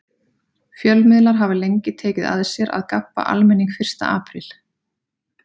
Fjölmiðlar hafa lengi tekið að sér að gabba almenning fyrsta apríl.